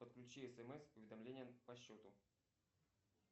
подключи смс уведомление по счету